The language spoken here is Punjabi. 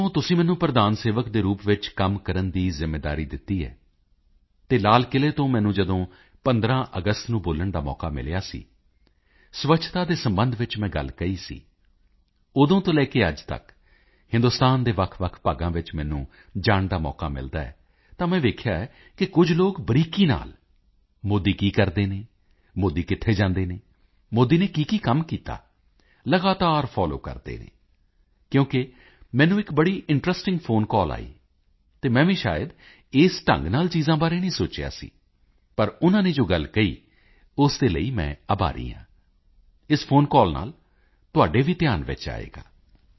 ਜਦੋਂ ਤੋਂ ਤੁਸੀਂ ਮੈਨੂੰ ਪ੍ਰਧਾਨ ਸੇਵਕ ਦੇ ਰੂਪ ਵਿੱਚ ਕੰਮ ਕਰਨ ਦੀ ਜ਼ਿੰਮੇਵਾਰੀ ਦਿੱਤੀ ਹੈ ਅਤੇ ਲਾਲ ਕਿਲੇ ਤੋਂ ਮੈਨੂੰ ਜਦੋਂ 15 ਅਗਸਤ ਨੂੰ ਬੋਲਣ ਦਾ ਮੌਕਾ ਮਿਲਿਆ ਸੀ ਸਵੱਛਤਾ ਦੇ ਸਬੰਧ ਵਿੱਚ ਮੈਂ ਗੱਲ ਕਹੀ ਸੀ ਉਦੋਂ ਤੋਂ ਲੈ ਕੇ ਅੱਜ ਤੱਕ ਹਿੰਦੁਸਤਾਨ ਦੇ ਵੱਖਵੱਖ ਭਾਗਾਂ ਵਿੱਚ ਮੈਨੂੰ ਜਾਣ ਦਾ ਮੌਕਾ ਮਿਲਦਾ ਹੈ ਤਾਂ ਮੈਂ ਵੇਖਿਆ ਹੈ ਕਿ ਕੁਝ ਲੋਕ ਬਰੀਕੀ ਨਾਲ ਮੋਦੀ ਕੀ ਕਰਦੇ ਹਨ ਮੋਦੀ ਕਿੱਥੇ ਜਾਂਦੇ ਹਨ ਮੋਦੀ ਨੇ ਕੀਕੀ ਕੰਮ ਕੀਤਾ ਲਗਾਤਾਰ ਫੋਲੋ ਕਰਦੇ ਹਨ ਕਿਉਕਿ ਮੈਨੂੰ ਇੱਕ ਬੜੀ ਇੰਟਰੈਸਟਿੰਗ ਫੋਨ ਕਾਲ ਆਈ ਅਤੇ ਮੈਂ ਵੀ ਸ਼ਾਇਦ ਇਸ ਢੰਗ ਨਾਲ ਚੀਜ਼ਾਂ ਬਾਰੇ ਨਹੀਂ ਸੋਚਿਆ ਸੀ ਪਰ ਉਨਾਂ ਨੇ ਜੋ ਗੱਲ ਕਹੀ ਉਸ ਦੇ ਲਈ ਮੈਂ ਆਭਾਰੀ ਹਾਂ ਇਸ ਫੋਨ ਕਾਲ ਨਾਲ ਤੁਹਾਡੇ ਵੀ ਧਿਆਨ ਵਿੱਚ ਆਏਗਾ